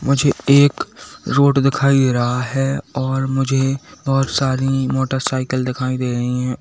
मुझे एक रोड दिखाई दे रहा है और मुझे बहुत सारी मोटरसाइकिल दिखाई दे रही हैं।